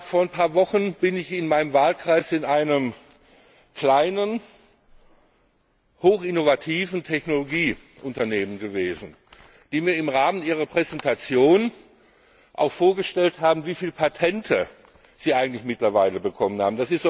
Vor ein paar Wochen bin ich in meinem Wahlkreis in einem kleinen, hochinnovativen Technologieunternehmen gewesen, wo mir im Rahmen einer Präsentation auch vorgestellt wurde, wie viele Patente das Unternehmen mittlerweile bekommen hat.